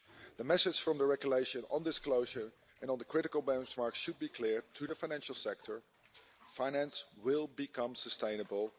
The message from the regulation on disclosure and on the critical benchmarks should be clear to the financial sector finance will become sustainable.